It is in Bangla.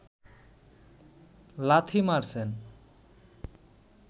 লাথি মারছেন